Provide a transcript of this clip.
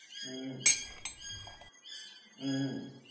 હુંમ હુંમ